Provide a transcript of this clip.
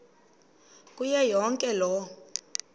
kuyo yonke loo